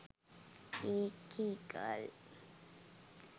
ඒකෙ ගල්